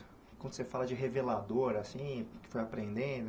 Quando você fala de revelador, assim, o que foi aprendendo...